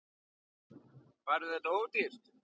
Færðu þetta ódýrt?